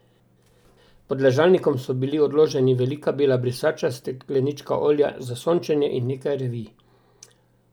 Pod ležalnikom so bili odloženi velika bela brisača, steklenička olja za sončenje in nekaj revij.